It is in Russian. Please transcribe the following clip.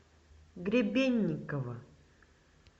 гребенникова